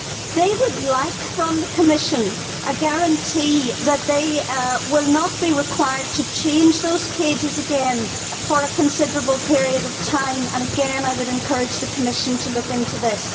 They would like from the Commission a guarantee that they will not be required to change those cages again for a considerable period of time, and again I would encourage the Commission to look into this.